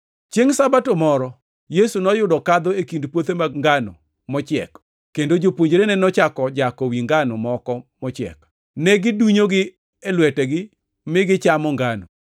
Chiengʼ Sabato moro, Yesu noyudo kadho e kind puothe mag ngano mochiek, kendo jopuonjrene nochako jako wi ngano moko mochiek, negidunyogi e lwetegi mi, gichamo ngano.